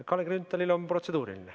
Kalle Grünthalil on protseduuriline.